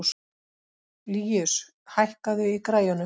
Líus, hækkaðu í græjunum.